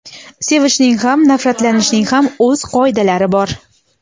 Sevishning ham nafratlanishning ham o‘z qoidalari bor.